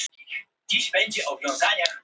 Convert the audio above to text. kallaði Sveinbjörn gegnum hurðina.